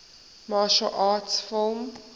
martial arts film